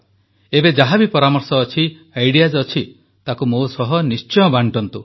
ଏବେ ଯାହା ବି ପରାମର୍ଶ ଅଛି ଆଇଡିଇଏଏସ ଅଛି ତାକୁ ମୋ ସହ ନିଶ୍ଚୟ ବାଂଟନ୍ତୁ